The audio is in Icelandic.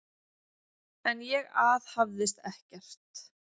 En ég aðhafðist ekkert.